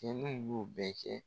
Cɛnin b'u bɛɛ cɛ